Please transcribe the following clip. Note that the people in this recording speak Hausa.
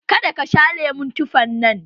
Ka da ka sha lemon tufan nan!